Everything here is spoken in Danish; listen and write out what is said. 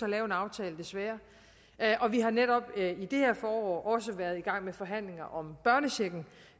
at lave en aftale desværre og vi har netop i det her forår også været i gang med forhandlinger om børnechecken